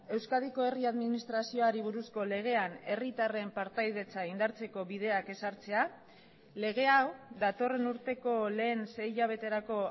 euskadiko herri administrazioari buruzko legean herritarren partaidetza indartzeko bideak ezartzea lege hau datorren urteko lehen sei hilabeterako